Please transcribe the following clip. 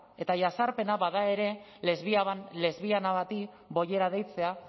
eta jazarpena bada ere lesbiana bati bollera deitzea